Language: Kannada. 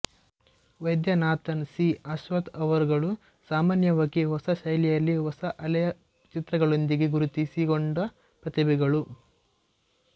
ವೈದ್ಯನಾಥನ್ ಸಿ ಅಶ್ವತ್ ಅವರುಗಳು ಸಾಮಾನ್ಯವಾಗಿ ಹೊಸ ಶೈಲಿಯಲ್ಲಿ ಹೊಸ ಅಲೆಯ ಚಿತ್ರಗಳೊಂದಿಗೆ ಗುರುತಿಸಿ ಕೊಂಡ ಪ್ರತಿಭೆಗಳು